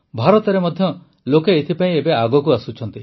ଭାରତରେ ମଧ୍ୟ ଲୋକେ ଏଥିପାଇଁ ଏବେ ଆଗକୁ ଆସୁଛନ୍ତି